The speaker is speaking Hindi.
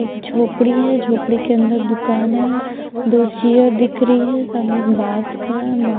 एक झोपड़ी है झोपड़ी के अंदर दुकान है दो चेयर दिख रही है सामने एक बास खड़ा है बा--